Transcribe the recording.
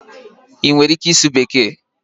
Ị nwere ike ịsụ bekee?